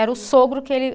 Era o sogro que ele